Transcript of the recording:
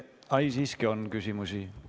Ei, siiski on küsimusi.